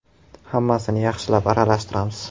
Hammasini yaxshilab aralashtiramiz.